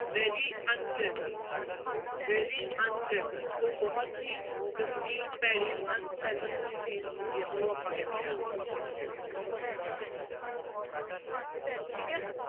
Very unpleasant, very unpleasant ਕੋਈ ਬਹੁਤ ਹੀ ਗੰਦੀ, ਭੈੜੀ unpleasant ਜਿਹੀ ਚੀਜ਼ ਹੁੰਦੀ ਹੈ, ਉਹਨੂੰ ਆਪਾਂ ਕਹਿੰਦੇ ਹਾਂ ਠੀਕ ਹੈ।